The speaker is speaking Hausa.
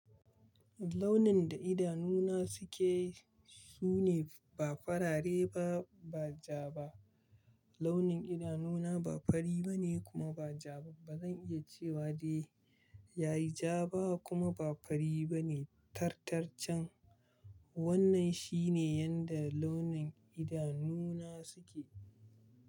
Launin da idanu na suke, sune ba farare ba, ba ja ba. Launin idanu na ba fari bane kuma ba ja ba. Ba zan iya cewa dai yayi ja ba kuma ba fari bane. Tartarcan wannan shine yanda launin idanu na suke.